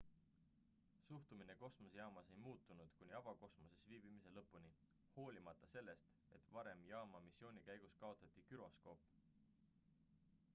suhtumine kosmosejaamas ei muutunud kuni avakosmoses viibimise lõpuni hoolimata sellest et varem jaama missiooni käigus kaotati güroskoop